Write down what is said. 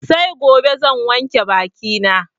Sai gobe zan wanke baki na